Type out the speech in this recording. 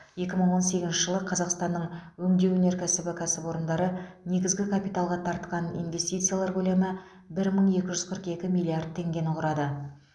екі мың он сегізінші жылы қазақстанның өңдеу өнеркәсібі кәсіпорындары негізгі капиталға тартқан инветсициялар көлемі бір мың екі жүз қырық екі миллиард теңгені құрады